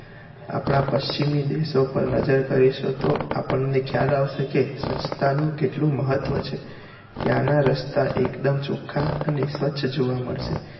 આપણા પશ્ચિમી દેશો પર નજર કરીશુ તો આપણને ખ્યાલ આવશે કે સ્વચ્છતા નું કેટલું મહત્વ છે ત્યાં નાં રસ્તા એકદમ ચોખ્ખા અને સ્વચ્છ જોવા મળશે